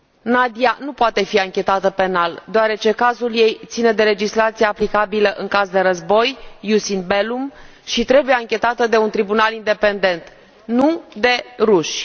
Nadiya nu poate fi anchetată penal, deoarece cazul ei ține de legislația aplicabilă în caz de război, și trebuie anchetată de un tribunal independent, nu de ruși.